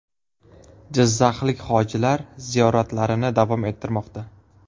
Jizzaxlik hojilar ziyoratlarini davom ettirmoqda.